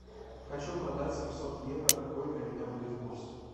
хочу продать семьсот евро какой для меня будет курс